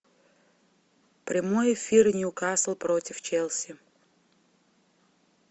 прямой эфир ньюкасл против челси